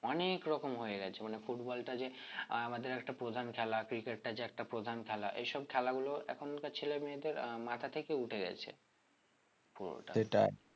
অনেক রকম হয়ে গেছে মানে football টা যে আমাদের একটা প্রধান খেলা cricket টা যে একটা প্রধান খেলা এই সব খেলা গুলো এখনকার ছেলে মেয়েদের মাথা থেকে উঠে গেছে